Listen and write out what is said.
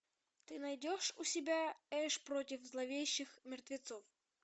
ты найдешь у себя эш против зловещих мертвецов